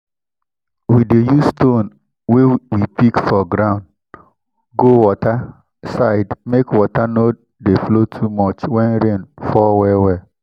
we dey use stone wey we pick for ground go water side make water no dey flow too much when rain fall well well